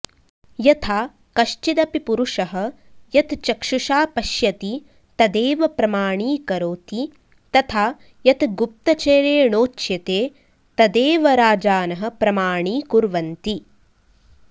यथा कश्चिदपि पुरुषः यत् चक्षुषा पश्यति तदेव प्रमाणीकरोति तथा यत् गुप्तचरेणोच्यते तदेव राजानः प्रमाणीकुर्वन्ति